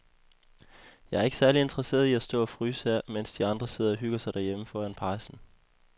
Jeg er ikke særlig interesseret i at stå og fryse her, mens de andre sidder og hygger sig derhjemme foran pejsen.